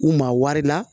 U maa wari la